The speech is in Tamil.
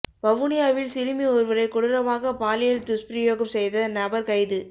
வவுனியாவில் சிறுமி ஒருவரை கொடூரமாக பாலியல் துஸ்பிரயோகம் செய்த நபர் கைது